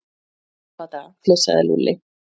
Í gamla daga flissaði Lúlli.